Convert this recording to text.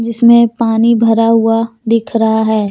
इसमें पानी भरा हुआ दिख रहा है।